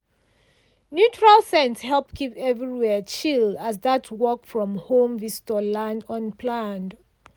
neutral scent help keep everywhere chill as that work-from-home visitor land unplanned.